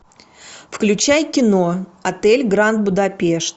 включай кино отель гранд будапешт